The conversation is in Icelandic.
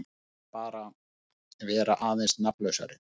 Eða bara vera aðeins nafnlausari.